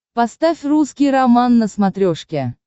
поставь русский роман на смотрешке